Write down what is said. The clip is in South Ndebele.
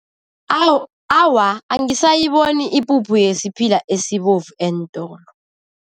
Awa, angisayiboni ipuphu yesiphila esibovu eentolo.